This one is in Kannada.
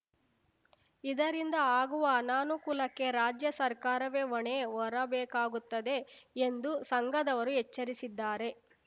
ಇದರಿಂದ ಆಗುವ ಅನಾನುಕೂಲಕ್ಕೆ ರಾಜ್ಯ ಸರ್ಕಾರವೇ ಹೊಣೆ ಹೊರಬೇಕಾಗುತ್ತದೆ ಎಂದು ಸಂಘದವರು ಎಚ್ಚರಿಸಿದ್ದಾರೆ